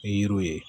I yiriw ye